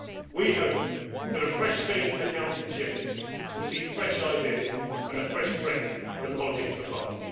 you. We hope that a fresh face in the Council chair will see fresh ideas and a fresh break in the politics of the